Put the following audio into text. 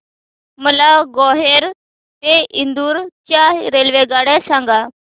मला ग्वाल्हेर ते इंदूर च्या रेल्वेगाड्या सांगा